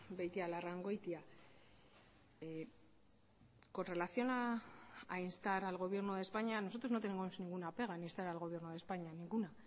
beitialarrangoitia con relación a instar al gobierno de españa nosotros no tenemos ninguna pega en instar al gobierno de españa ninguna